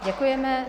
Děkujeme.